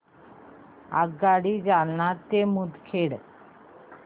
आगगाडी जालना ते मुदखेड